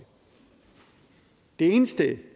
eneste